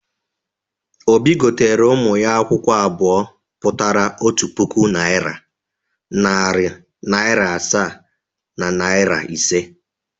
Obi gotere ụmụ ya akwụkwọ abụọ pụtara otu puku naịra, narị naịra asaa na naịra ise.